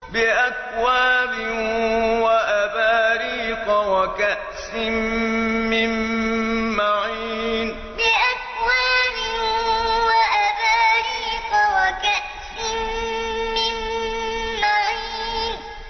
بِأَكْوَابٍ وَأَبَارِيقَ وَكَأْسٍ مِّن مَّعِينٍ بِأَكْوَابٍ وَأَبَارِيقَ وَكَأْسٍ مِّن مَّعِينٍ